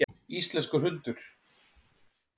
Íslenskur hundur.